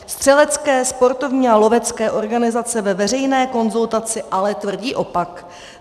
Střelecké, sportovní a lovecké organizace ve veřejné konzultaci ale tvrdí opak.